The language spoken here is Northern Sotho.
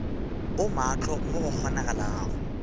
o maahlo mo go kgonagalago